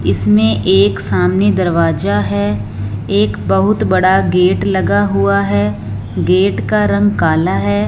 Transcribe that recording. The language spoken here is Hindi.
इसमें एक सामने दरवाजा है एक बहुत बड़ा गेट लगा हुआ है गेट का रंग काला है।